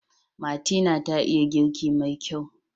Martina ta iya girki mai kyau.